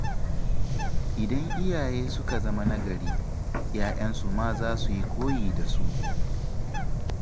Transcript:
Idan iyaye suka zama na gari, 'ya'yansu ma za su yi koyi da su.